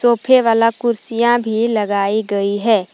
सोफे वाला कुर्सियां भी लगाई गई है।